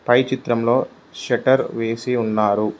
పై చిత్రంలో షట్టర్ వేసి ఉన్నారు.